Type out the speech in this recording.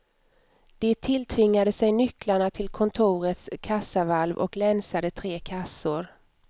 De tilltvingade sig nycklarna till kontorets kassavalv och länsade tre kassor.